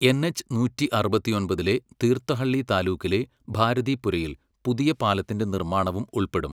N H നൂറ്റി അറുപത്തൊമ്പതിലെ തീർത്ഥഹള്ളി താലൂക്കിലെ ഭാരതിപുരയില് പുതിയ പാലത്തിൻ്റെ നിർമ്മാണവും ഉൾപ്പെടും.